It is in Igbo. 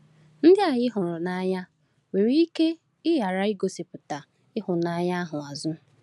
Ndị anyị hụrụ n’anya nwere ike ghara igosipụta ịhụnanya ahụ azụ.